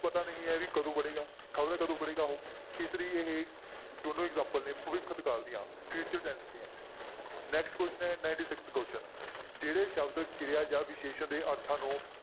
ਪਤਾ ਨਹੀਂ ਹੈ ਵੀ ਕਦੋਂ ਪੜ੍ਹੇਗਾ, ਖ਼ਬਰਾ ਕਦੋਂ ਪੜ੍ਹੇਗਾ ਉਹ, ਇਸ ਲਈ ਇਹ ਦੋਨੋਂ example ਨੇ ਭਵਿੱਖਤ ਕਾਲ ਦੀਆਂ future tense ਦੀਆਂ next question ਹੈ ninety-sixth question ਜਿਹੜੇ ਸ਼ਬਦ ਕਿਰਿਆ ਜਾਂ ਵਿਸ਼ੇਸ਼ਣ ਦੇ ਅਰਥਾਂ ਨੂੰ